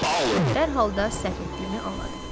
Və dərhal da səhv etdiyimi anladım.